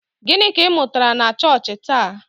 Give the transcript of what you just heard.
Gịnị ka ị mụtara na chọọchị taa?